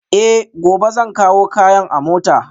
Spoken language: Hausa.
Eh, gobe zan kawo kayan a mota